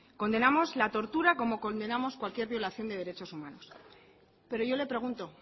condenamos la tortura como condenamos cualquier violación de derechos humanos pero yo le pregunto